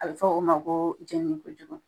A be fɔ o ma koo jɛnini kojugu